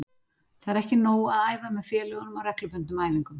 Það er ekki nóg að æfa með félögunum á reglubundnum æfingum.